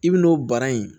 I bi n'o bara in